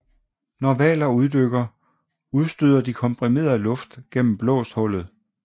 Når hvaler uddykker udstøder de komprimeret luft gennem blåsthullet